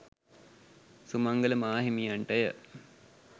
Sumangala මාහිමියන්ටය.